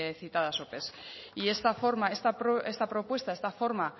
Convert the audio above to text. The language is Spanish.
citadas ope y esta forma está propuesta esta forma